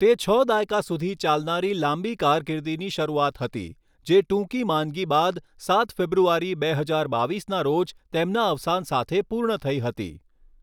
તે છ દાયકા સુધી ચાલનારી લાંબી કારકીર્દીની શરૂઆત હતી, જે ટૂંકી માંદગી બાદ સાત ફેબ્રુઆરી, બે હજાર બાવીસના રોજ તેમના અવસાન સાથે પૂર્ણ થઈ હતી.